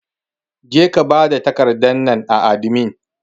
Jeka bada takardar nan a adimi!